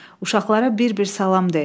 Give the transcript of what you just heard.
Uşaqlara bir-bir salam de.